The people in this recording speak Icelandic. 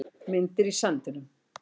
Myndir í sandinum